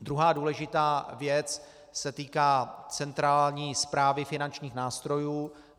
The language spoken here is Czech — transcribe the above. Druhá důležitá věc se týká centrální správy finančních nástrojů.